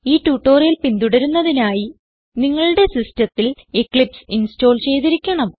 ഈ ട്യൂട്ടോറിയൽ പിന്തുടരുന്നതിനായി നിങ്ങളുടെ സിസ്റ്റത്തിൽ എക്ലിപ്സ് ഇൻസ്റ്റോൾ ചെയ്തിരിക്കണം